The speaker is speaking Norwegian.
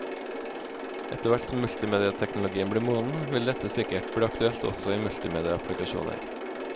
Etter hvert som multimedieteknologien blir moden, vil dette sikkert bli aktuelt ogsÂ i multimedieapplikasjoner.